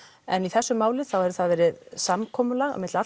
en í þessu máli hefur verið samkomulag milli